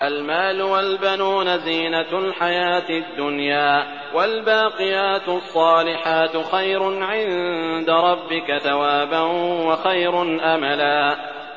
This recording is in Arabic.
الْمَالُ وَالْبَنُونَ زِينَةُ الْحَيَاةِ الدُّنْيَا ۖ وَالْبَاقِيَاتُ الصَّالِحَاتُ خَيْرٌ عِندَ رَبِّكَ ثَوَابًا وَخَيْرٌ أَمَلًا